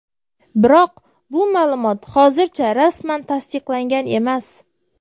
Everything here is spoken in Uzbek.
Biroq bu ma’lumot hozircha rasman tasdiqlangan emas.